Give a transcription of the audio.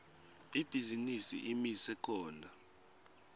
ibhizinisi imise khona